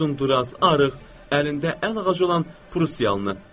Uzun-duraz, arıq, əlində əl ağacı olan Prussiyalını.